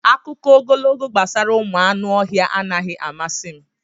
Akụkọ ogologo gbasara ụmụ anụ ọhịa anaghị amasị m.